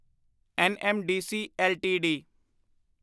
NMDC LTD